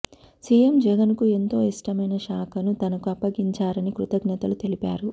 CM జగన్కు ఎంతో ఇష్టమైన శాఖను తనకు అప్పగించారని కృతజ్ఞతలు తెలిపారు